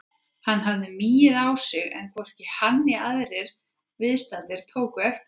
Hann hafði migið á sig en hvorki hann né aðrir viðstaddir tóku eftir því.